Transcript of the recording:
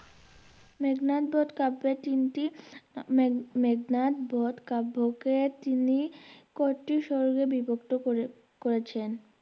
মেঘনাদ বধ কাব্যে তিনটি মেঘনাদ বধ কাব্যকে তিনি কয়টি সর্গে বিভক্ত করে করেছেন?